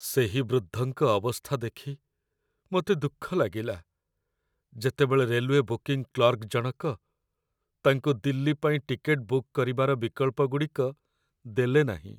ସେହି ବୃଦ୍ଧଙ୍କ ଅବସ୍ଥା ଦେଖି ମୋତେ ଦୁଃଖ ଲାଗିଲା ଯେତେବେଳେ ରେଲୱେ ବୁକିଂ କ୍ଲର୍କ ଜଣକ ତାଙ୍କୁ ଦିଲ୍ଲୀ ପାଇଁ ଟିକେଟ୍‌ ବୁକ୍ କରିବାର ବିକଳ୍ପଗୁଡ଼ିକ ଦେଲେନାହିଁ।